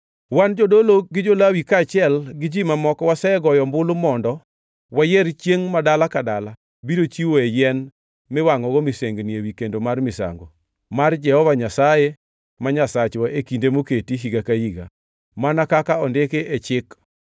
“Wan; jodolo, gi jo-Lawi kaachiel gi ji mamoko wasegoyo ombulu mondo wayier chiengʼ ma dala ka dala biro chiwoe yien miwangʼogo misengini ewi kendo mar misango mar Jehova Nyasaye ma Nyasachwa e kinde moketi higa ka higa, mana kaka ondiki e Chik.